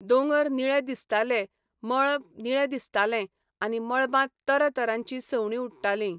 दोंगर निळे दिसताले, मळबनिळें दिसतालें आनी मळबांत तरा तरांचीं सवणीं उडटालीं.